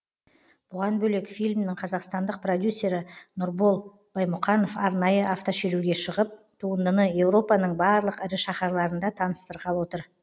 бұған бөлек фильмнің қазақстандық продюсері нұрбол баймұқанов арнайы автошеруге шығып туындыны еуропаның барлық ірі шаһарларында таныстырғалы отыр